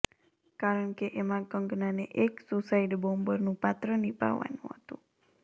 કારણકે એમાં કંગનાને એક સુસાઇડ બોમ્બરનું પાત્ર નિભાવવાનું હતું